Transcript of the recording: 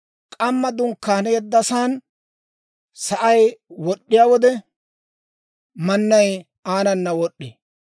K'amma dunkkaaneeddasan s'aasay wod'd'iyaa wode, mannay aanana wod'd'ee.